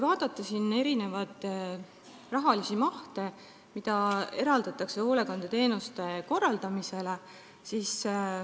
Vaatame selle raha mahtu, mida eraldatakse hoolekandeteenuste korraldamisele.